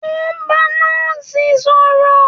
O n bá Nọ́ọ̀sì sọ̀rọ̀.